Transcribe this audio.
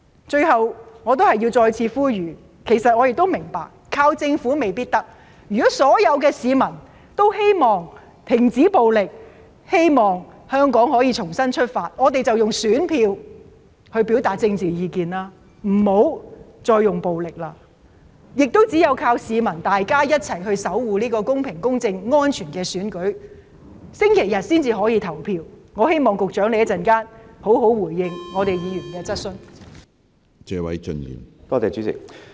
最後，我想再次呼籲，其實我亦明白依靠政府未必可以做到這件事，但如果所有市民也希望停止暴力，希望香港可以重新出發，我們便應該用選票來表達政治意見，不應該再使用暴力，亦只有依靠市民一起守護這個公平公正和安全的選舉，市民才可以在星期日順利投票，希望局長稍後會好好回應議員的質詢。